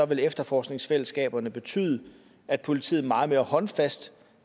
vil efterforskningsfællesskaberne betyde at politiet meget mere håndfast